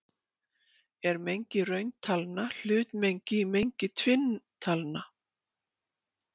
Er mengi rauntalna hlutmengi í mengi tvinntalna?